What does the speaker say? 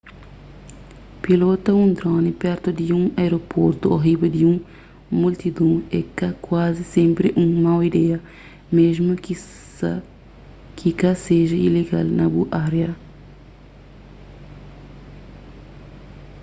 pilota un drone pertu di un aeroportu ô riba di un multidon é ka kuazi sénpri un mau ideia mésmu ki ka seja ilegal na bu ária